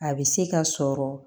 A bɛ se ka sɔrɔ